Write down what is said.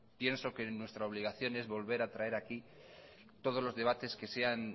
pienso que nuestra obligación es volver a traer aquí todos los debates que sean